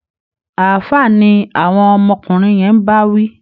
Ààfáà ni àwọn ọmọkùnrin yẹn ń bá wí